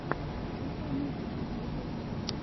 включай мультики ютюб